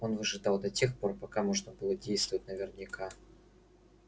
он выжидал до тех пор пока можно было действовать наверняка